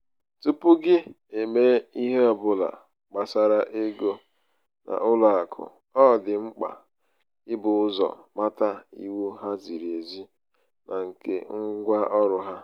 tupu gị emee ihe ọ bụla gbásárá ego n'ụlọ akụ ọ dị mkpa i bu ụzọ mata iwu há ziri ezi na nke ngwa ọrụ ha